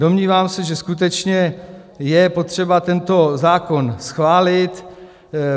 Domnívám se, že skutečně je potřeba tento zákon schválit.